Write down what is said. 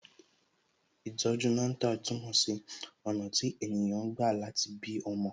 Ìtọ̀ju Natal túmọ̀ sí ọ̀nà tí ènìyàn gbà láti bí ọmọ